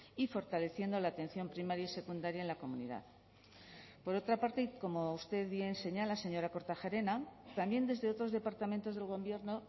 y fortaleciendo la atención primaria y secundaria en la comunidad por otra parte y como usted bien señala señora kortajarena también desde otros departamentos del gobierno